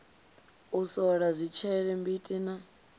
u sola zwitshele mbiti na